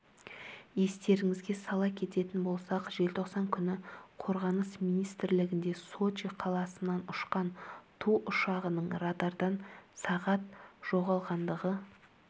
естеріңізге сала кететін болсақ желтоқсан күні қорғаныс министрлігінде сочи қаласынан ұшқан ту ұшағының радардан сағат жоғалғандығы